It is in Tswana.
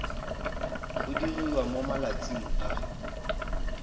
go diriwa mo malatsing a